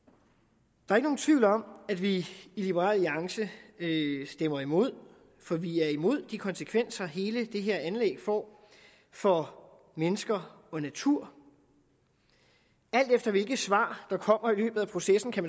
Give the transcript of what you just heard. der er ikke nogen tvivl om at vi i liberal alliance stemmer imod for vi er imod de konsekvenser hele det her anlæg får for mennesker og natur alt efter hvilke svar der kommer i løbet af processen kan